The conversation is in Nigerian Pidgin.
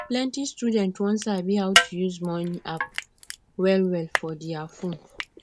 plenty students wan sabi how to use money app wellwell for their phone